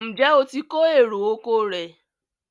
Njé o tí kò èrò ọkọ̀ rẹ?